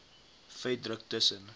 vet druk tussen